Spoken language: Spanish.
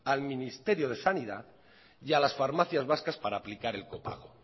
al ministerio de sanidad y a las farmacias vascas para aplicar el copago